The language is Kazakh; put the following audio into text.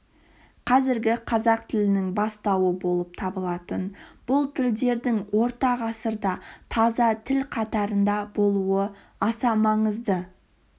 қазіргі қазақ тілінің бастауы болып табылатын бұл тілдердің орта ғасырда таза тіл қатарында болуы аса маңызды